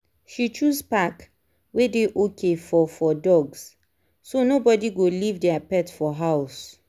she choose park wey dey okay for for dogs so nobody go leave their pet for house.